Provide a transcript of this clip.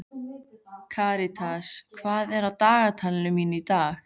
Karitas, hvað er í dagatalinu mínu í dag?